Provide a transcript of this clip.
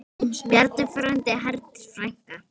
Bjarni frændi, Herdís frænka.